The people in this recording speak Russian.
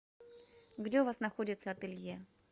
где у вас находится ателье